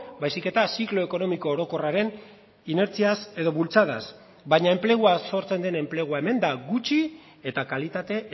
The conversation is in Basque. baizik eta ziklo ekonomiko orokorraren inertziaz edo bultzadaz baina enplegua sortzen den enplegua hemen da gutxi eta kalitate